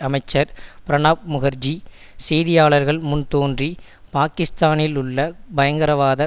அமைச்சர் பிரணாப் முகார்ஜி செய்தியாளர்கள் முன் தோன்றி பாக்கிஸ்தானிலுள்ள பயங்கரவாத